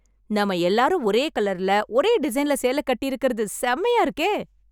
நாம எல்லாரும் ஒரே கலர்ல, ஒரே டிசைன்ல சேலை கட்டியிருக்கறது செமையா இருக்கே..